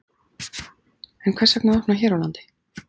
En hvers vegna að opna hér á landi?